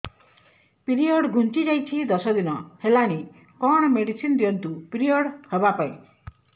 period ଘୁଞ୍ଚି ଯାଇଛି ଦଶ ଦିନ ହେଲାଣି କଅଣ ମେଡିସିନ ଦିଅନ୍ତୁ ପିରିଅଡ଼ ହଵା ପାଈଁ